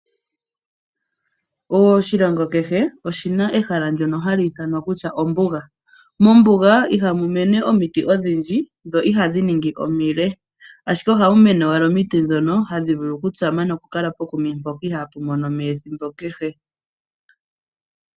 Oshilongo kehe oshina ehala ndono hali ithanwa kutya ombuga. Mombuga ihamu mene omiti odhindji dho ihadhi ningi omile, ashike ohamu mene owala omiti ndhono hadhi vulu okutsama nokukala pokuma mpoka ihaapu mono omeya ethimbo kehe.